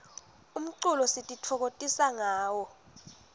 umculo sititfokotisa ngawo